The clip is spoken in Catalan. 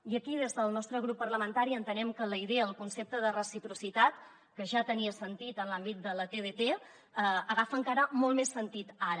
i aquí des del nostre grup parlamentari entenem que la idea el concepte de reciprocitat que ja tenia sentit en l’àmbit de la tdt agafa encara molt més sentit ara